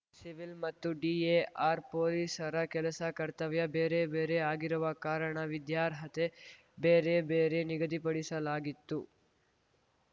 civil ಮತ್ತು DAR ಪೊಲೀಸರ ಕೆಲಸ ಕರ್ತವ್ಯ ಬೇರೆ ಬೇರೆ ಆಗಿರುವ ಕಾರಣ ವಿದ್ಯಾರ್ಹತೆ ಬೇರೆ ಬೇರೆ ನಿಗದಿಪಡಿಸಲಾಗಿತ್ತು